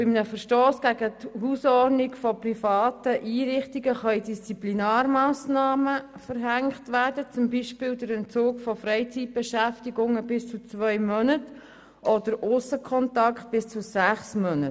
Denn bei einem Verstoss gegen die Hausordnung von privaten Einrichtungen können Disziplinarmassnahmen verhängt werden, zum Beispiel der Entzug von Freizeitbeschäftigungen bis zu zwei Monaten oder derjenige von Aussenkontakten bis zu sechs Monaten.